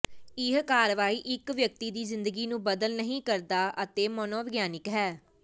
ਇਹ ਕਾਰਵਾਈ ਇਕ ਵਿਅਕਤੀ ਦੀ ਜ਼ਿੰਦਗੀ ਨੂੰ ਬਦਲ ਨਹੀ ਕਰਦਾ ਹੈ ਅਤੇ ਮਨੋਵਿਗਿਆਨਕ ਹੈ